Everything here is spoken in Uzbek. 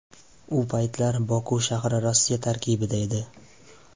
U paytlar Boku shahri Rossiya tarkibida edi.